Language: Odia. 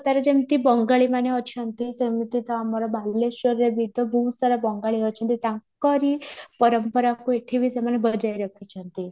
ତା'ର ଯେମିତି ବଙ୍ଗାଳି ମାନେ ଅଛନ୍ତି ସେମିତ ଆମର ବାଲେଶ୍ୱରରେ ବିତ ବହୁତ ସାରା ବଙ୍ଗାଳି ଅଛନ୍ତି ତାଙ୍କରି ପରମ୍ପରାକୁ ଏଠି ବି ସେମାନେ ବଜାଇ ରଖିଛନ୍ତି